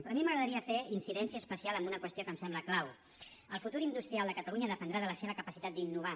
però a mi m’agradaria fer incidència especial en una qüestió que em sembla clau el futur industrial de catalunya dependrà de la seva capacitat d’innovar